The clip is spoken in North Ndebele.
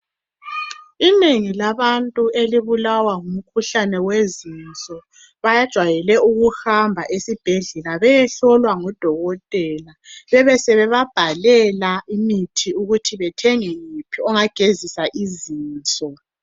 Inengi labantu elubulawa ngumkhuhlane wezinso bajwayele ukuhamba esibhedlela beyehlolwa ngudokotela bebe sebebabhalela imithi ukuthi bethenge yiphi engabagezisa izinso.